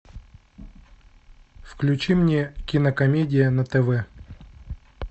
включи мне кинокомедия на тв